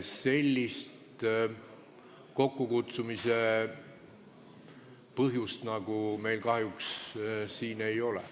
Sellist kokkukutsumise põhjust meil kahjuks siin ei ole.